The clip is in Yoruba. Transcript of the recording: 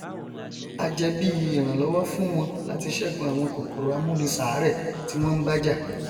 á jẹ bí ìrànlọwọ fún wọn láti ṣẹgun àwọn kòkòrò amúniṣàárẹ tí wọn nbá jà